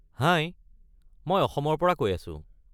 হাই! মই অসমৰ পৰা কৈ আছো।